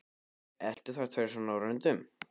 Eltu þeir þær svona á röndum?